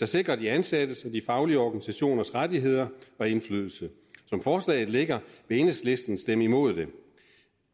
der sikrer de ansattes og de faglige organisationers rettigheder og indflydelse som forslaget ligger vil enhedslisten stemme imod det